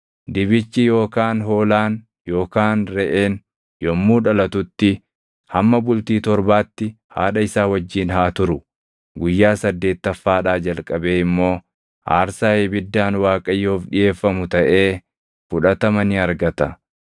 “Dibichi yookaan hoolaan yookaan reʼeen yommuu dhalatutti hamma bultii torbaatti haadha isaa wajjin haa turu. Guyyaa saddeettaffaadhaa jalqabee immoo aarsaa ibiddaan Waaqayyoof dhiʼeeffamu taʼee fudhatama ni argata.